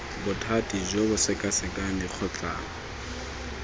bothati jo bo sekasekang dikgotlang